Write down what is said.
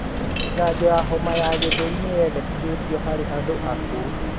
Janjo ya homa ya gĩthũri nĩ yendekithĩtio harĩ andũ akũru.